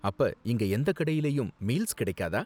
அப்ப, இங்க எந்த கடையிலயும் மீல்ஸ் கிடைக்காதா?